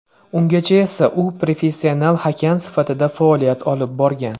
Ungacha esa u professional hakam sifatida faoliyat olib borgan.